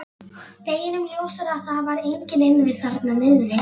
Deginum ljósara að það var enginn inni við þarna niðri.